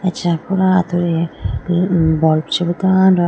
acha pura atudi bulb chibi tando.